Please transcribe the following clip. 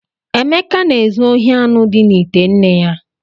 Emeka na-ezu ohi anụ dị n’ite nne ya.